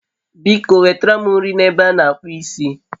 biko nwetara m nri na ebe a n'akpụ isi